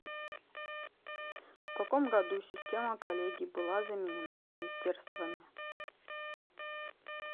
в каком году система коллегий была заменена министерствами